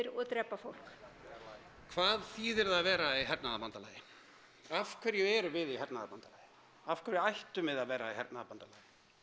og drepa fólk hvað þýðir það að vera í hernaðarbandalagi af hverju erum við í hernaðarbandalagi af hverju ættum við að vera í hernaðarbandalagi